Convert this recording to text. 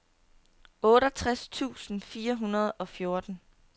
otteogtres tusind fire hundrede og fjorten